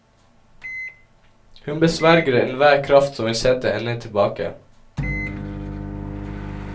Hun besverger enhver kraft som vil sette henne tilbake.